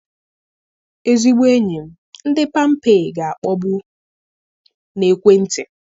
Ezigbo enyi m, ndị Pampé ga-akpọgbu na ekwentị.